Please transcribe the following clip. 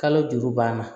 Kalo duuru banna